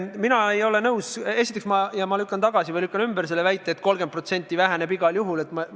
Mina ei ole nõus ja lükkan tagasi või ümber väite, et langus on igal juhul 30%.